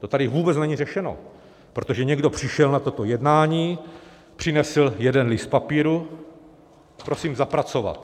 To tady vůbec není řešeno, protože někdo přišel na toto jednání, přinesl jeden list papíru: prosím zapracovat.